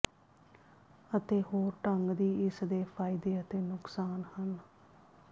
ਅਤੇ ਹੋਰ ਢੰਗ ਦੀ ਇਸ ਦੇ ਫ਼ਾਇਦੇ ਅਤੇ ਨੁਕਸਾਨ ਹਨ